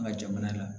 An ka jamana la